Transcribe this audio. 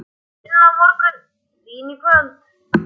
Vinna á morgun, vín í kvöld.